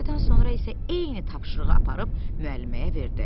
Bir həftədən sonra isə eyni tapşırığı aparıb müəlliməyə verdi.